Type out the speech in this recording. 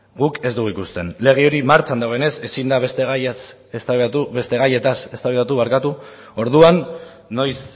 guk ez dugu ikusten lege hori martxan dagoenez ezin da beste gaiez eztabaidatu orduan noiz